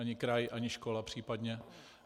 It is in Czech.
Ani kraj, ani škola případně.